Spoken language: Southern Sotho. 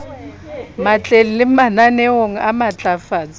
matleng le mananeong a matlafatso